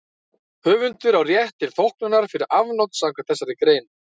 Höfundur á rétt til þóknunar fyrir afnot samkvæmt þessari grein.